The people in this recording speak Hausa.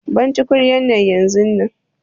Ban tukunyar nan yanzun nan!